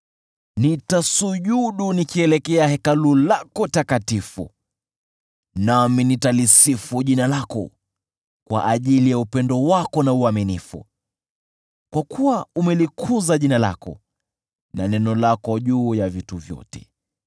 Nitasujudu nikielekea Hekalu lako takatifu, nami nitalisifu jina lako kwa ajili ya upendo wako na uaminifu, kwa kuwa umelikuza jina lako na neno lako juu ya vitu vyote.